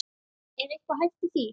Er eitthvað hæft í því?